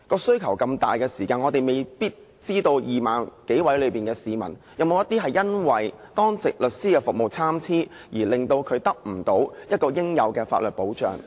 需求這麼大，我們未必知道，在這 20,000 多名市民中，是否有些因為當值律師的服務參差，而令他們無法獲得應有的法律保障呢？